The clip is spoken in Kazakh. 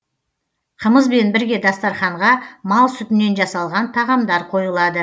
қымызбен бірге дастарханға мал сүтінен жасалған тағамдар қойылады